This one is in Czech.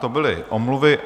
To byly omluvy.